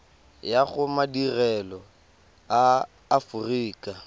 ya go madirelo a aforika